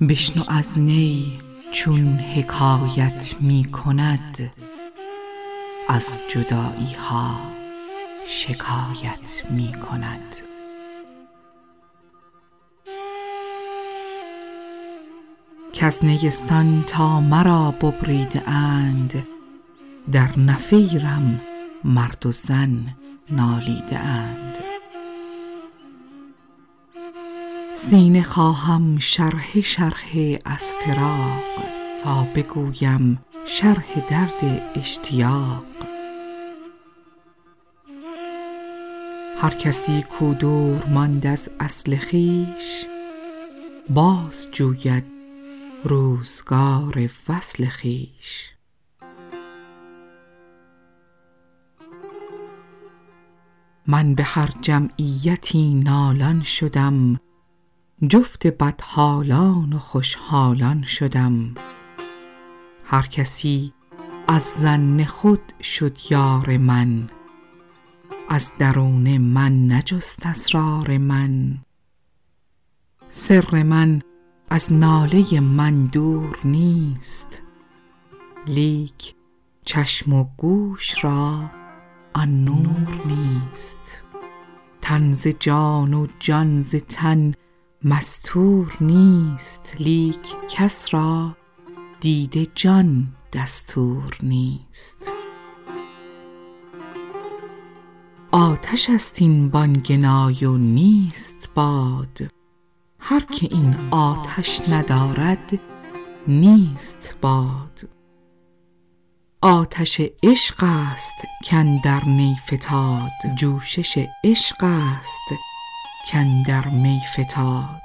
بشنو این نی چون شکایت می کند از جدایی ها حکایت می کند کز نیستان تا مرا ببریده اند در نفیرم مرد و زن نالیده اند سینه خواهم شرحه شرحه از فراق تا بگویم شرح درد اشتیاق هر کسی کو دور ماند از اصل خویش باز جوید روزگار وصل خویش من به هر جمعیتی نالان شدم جفت بدحالان و خوش حالان شدم هر کسی از ظن خود شد یار من از درون من نجست اسرار من سر من از ناله من دور نیست لیک چشم و گوش را آن نور نیست تن ز جان و جان ز تن مستور نیست لیک کس را دید جان دستور نیست آتش است این بانگ نای و نیست باد هر که این آتش ندارد نیست باد آتش عشق است کاندر نی فتاد جوشش عشق است کاندر می فتاد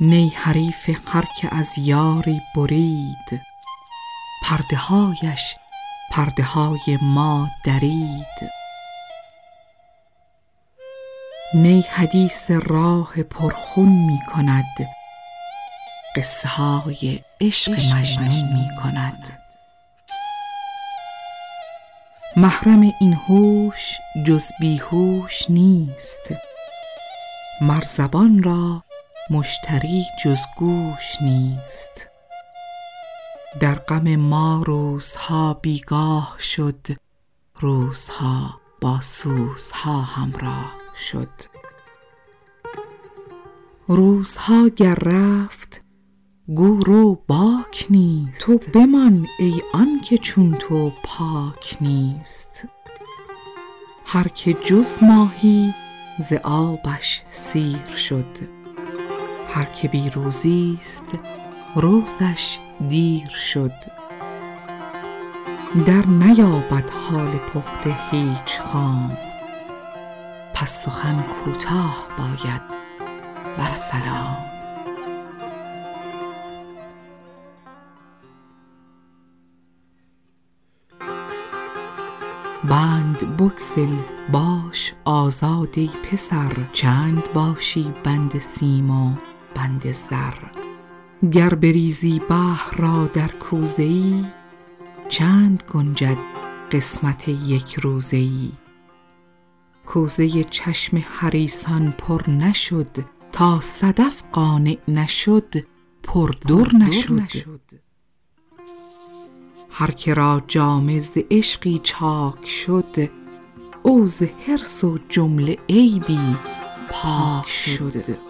نی حریف هر که از یاری برید پرده هایش پرده های ما درید همچو نی زهری و تریاقی که دید همچو نی دمساز و مشتاقی که دید نی حدیث راه پر خون می کند قصه های عشق مجنون می کند محرم این هوش جز بی هوش نیست مر زبان را مشتری جز گوش نیست در غم ما روزها بیگاه شد روزها با سوزها همراه شد روزها گر رفت گو رو باک نیست تو بمان ای آنکه چون تو پاک نیست هر که جز ماهی ز آبش سیر شد هر که بی روزی ست روزش دیر شد در نیابد حال پخته هیچ خام پس سخن کوتاه باید والسلام بند بگسل باش آزاد ای پسر چند باشی بند سیم و بند زر گر بریزی بحر را در کوزه ای چند گنجد قسمت یک روزه ای کوزه چشم حریصان پر نشد تا صدف قانع نشد پر در نشد هر که را جامه ز عشقی چاک شد او ز حرص و عیب کلی پاک شد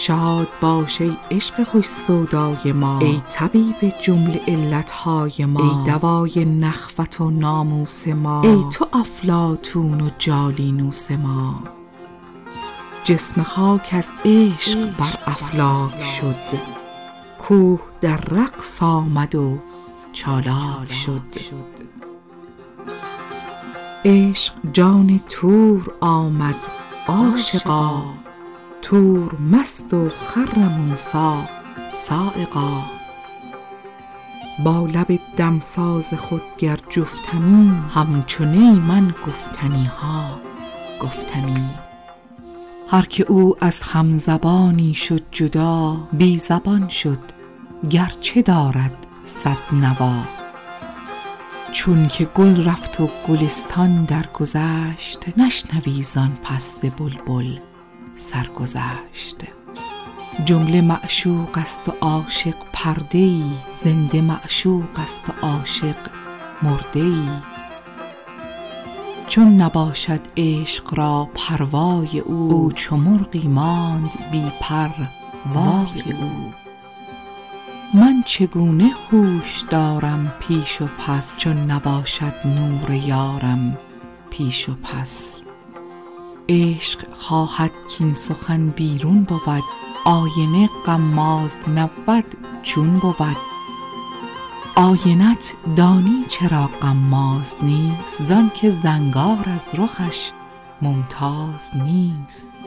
شاد باش ای عشق خوش سودای ما ای طبیب جمله علت های ما ای دوای نخوت و ناموس ما ای تو افلاطون و جالینوس ما جسم خاک از عشق بر افلاک شد کوه در رقص آمد و چالاک شد عشق جان طور آمد عاشقا طور مست و خر موسیٰ‏ صعقا با لب دمساز خود گر جفتمی همچو نی من گفتنی ها گفتمی هر که او از هم زبانی شد جدا بی زبان شد گر چه دارد صد نوا چون که گل رفت و گلستان درگذشت نشنوی زآن پس ز بلبل سرگذشت جمله معشوق است و عاشق پرده ای زنده معشوق است و عاشق مرده ای چون نباشد عشق را پروای او او چو مرغی ماند بی پر وای او من چگونه هوش دارم پیش و پس چون نباشد نور یارم پیش و پس عشق خواهد کاین سخن بیرون بود آینه غماز نبود چون بود آینه ت دانی چرا غماز نیست زآن که زنگار از رخش ممتاز نیست